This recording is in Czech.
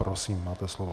Prosím, máte slovo.